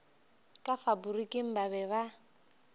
ka faporiking ba be ba